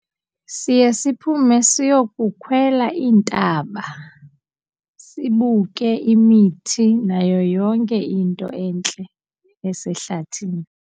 Siye siphume siyokukhwela iintaba, sibuke imithi nayo yonke into entle esehlathini.